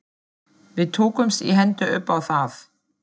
Við tókumst í hendur upp á það.